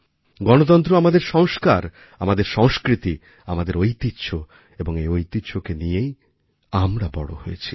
গণতন্ত্র আমাদেরসংস্কার আমাদের সংস্কৃতি আমাদের ঐতিহ্য এবং এই ঐতিহ্যকে নিয়েই আমরা বড়ো হয়েছি